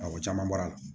Awɔ o caman bɔra